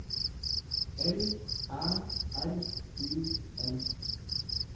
L Æ R U M